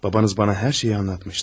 Babanız bana hər şeyi anlatmışdı.